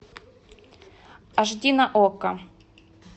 аш ди на окко